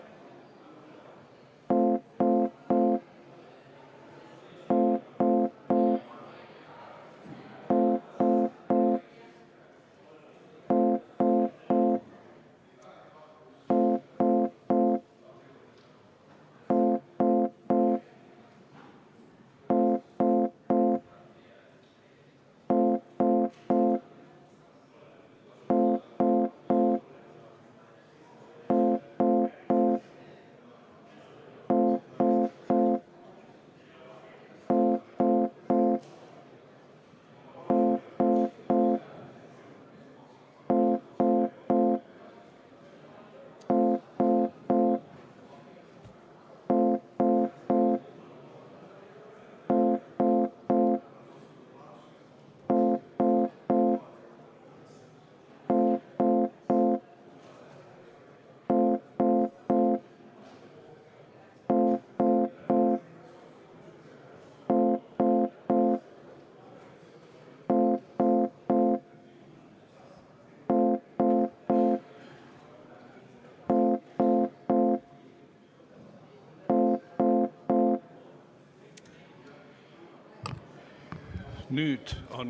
Katkestame selle hääletuse praegu.